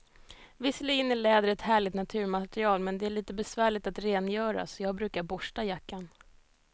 Visserligen är läder ett härligt naturmaterial, men det är lite besvärligt att rengöra, så jag brukar borsta jackan.